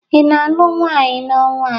Ị na-alụ nwaanyị n'ọnwa a?